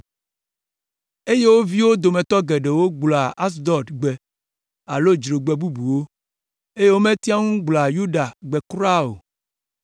eye wo viwo dometɔ geɖewo gblɔa Asdod gbe alo dzrogbe bubuwo, eye wometea ŋu gblɔa Yuda gbe kura o.